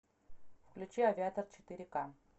включи авиатор четыре ка